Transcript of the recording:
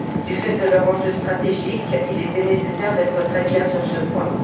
Du fait de leur enjeu stratégique, il était nécessaire d'être très clair sur ce point.